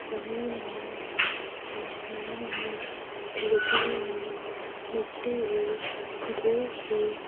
जमीन हैं आसमान हैं खिड़कियें हैं मिट्टी हैं धूप हैं।